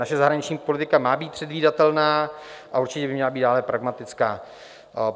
Naše zahraniční politika má být předvídatelná a určitě by měla být dále pragmatická.